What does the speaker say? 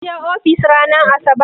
Kin je ofis ranar asabar?